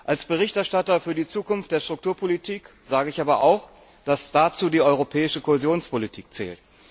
Als Berichterstatter für die Zukunft der Strukturpolitik sage ich aber auch, dass dazu auch die Europäische Kohäsionspolitik zählt.